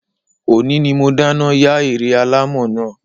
Ọ̀ní ni mo dáná yá ère alámọ̀ náà